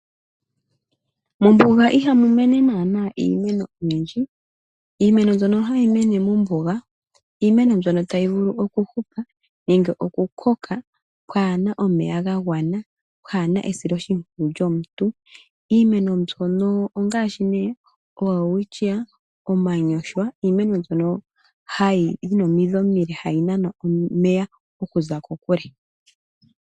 Mombuga ihamu mene naana iimeno oyindji, iimeno mbyono hayi mene mombuga , iimeno mbyono tayi vulu oku hupa nenge okukoka pwaa na omeya gagwana, pwaa na esilo shimpwiyu lyomuntu ,iimeno mbyono ongaashi ne oWelwitschia , omanyoshwa iimeno mbyono yi na omidhi omile hayi nana omeya okuza kokule.